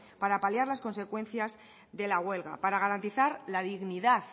para paliar las consecuencias de la huelga para garantizar la dignidad